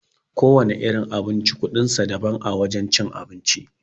Kowana irin abinci kuɗin sa daban a wajen cin abinci.